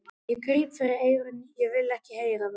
Ég gríp fyrir eyrun, ég vil ekki heyra það!